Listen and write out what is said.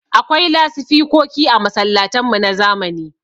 Akwai lasifikoki a masallatan mu na zamani.